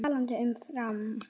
Og talandi um Fram.